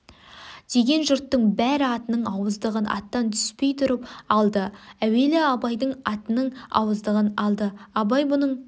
деген жүрттың бәрі атының ауыздығын аттан түспей тұрып алды әуелі абайдың атының ауыздығын алды абай бұның